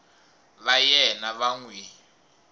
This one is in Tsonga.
va yena va n wi